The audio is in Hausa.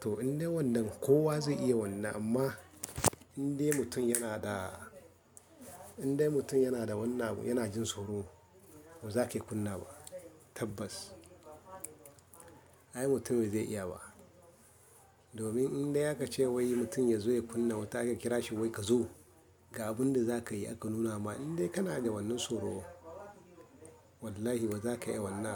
To in dai wannan kowa zai iya wannan amma in dai mutum yana da, in dai mutum yana da wannan, yana jin soro, ba za ka iya kunna ba. Tabbas. Ai mutumin zai iya ba. Domin in dai aka ce wai mutum ya zo ya kunna wuta aka kira shi wai ka zo, ga abin da za ka yi aka nuna ma in dai kana da wannan soro, wallahi ba za ka iya wannan ba.